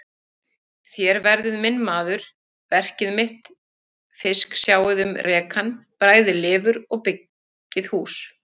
Þér verðið minn maður, verkið minn fisk, sjáið um rekann, bræðið lifur og byggið hús.